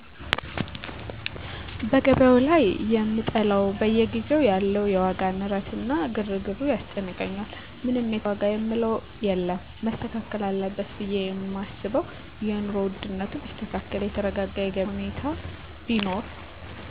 በገቢያዉ ላይ የምጠላዉ በየጊዜዉ ያለዉ የዋጋ ንረት እና ግርግሩ ያስጨንቀኛል ምንም የተሻለ ዋጋ የምንለዉ የለም መስተካከል አለበት ብየ የማስበዉ የኑሮ ዉድነቱ ቢስተካከል የተረጋጋ የገቢያ ሁኔታ ቢኖር